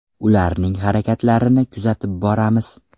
Ularning harakatlarini kuzatib boramiz.